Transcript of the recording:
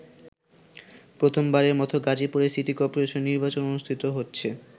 প্রথমবারের মতো গাজীপুরে সিটি কর্পোরেশন নির্বাচন অনুষ্ঠিত হচ্ছে।